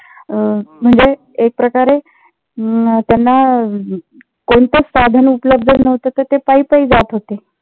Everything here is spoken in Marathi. अं म्हणजे एकप्रकारे अं त्यांना कोणतेच साधन उपलब्ध नव्हते तर ते पायी पायी जात होते.